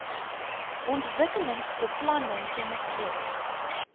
ontwikkelingsbeplanningkennisgewings